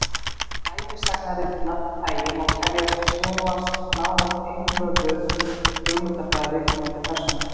ævisagnaritun af því tagi má teljast snúast nánast einvörðungu um hugmyndafræði viðkomandi persónu